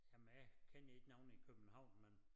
Og men jeg kender ikke nogen i København men